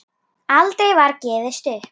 Aldrei var gefist upp.